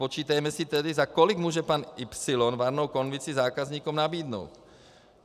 Spočítejme si tedy, za kolik může pan Y varnou konvici zákazníkům nabídnout.